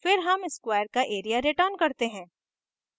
फिर हम square का area return करते हैं